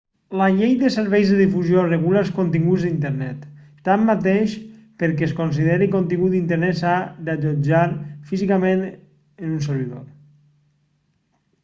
la llei de serveis de difusió regula els continguts d'internet tanmateix perquè es consideri contingut d'internet s'ha d'allotjar físicament en un servidor